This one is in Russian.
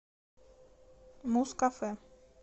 музкафэ